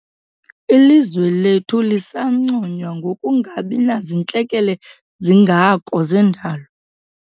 Ilizwe lethu lisanconywa ngokungabi nazintlekele zingako zendalo.